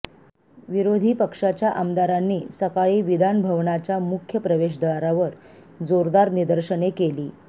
विरोधी पक्षाच्या आमदारांनी सकाळी विधानभवनाच्या मुख्य प्रवेशद्वारावर जोरदार निदर्शने केली